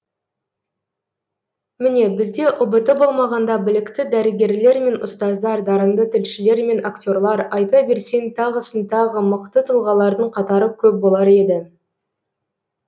міне бізде ұбт болмағанда білікті дәрігерлер мен ұстаздар дарынды тілшілер мен акте рлар айта берсең тағысын тағы мықты тұлғалардың қатары көп болар еді